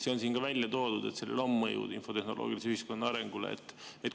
See on siin ka välja toodud, et sellel on mõjud infotehnoloogilise ühiskonna arengule.